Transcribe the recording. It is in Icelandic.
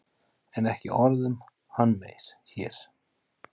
En ekki orð um hann meir hér.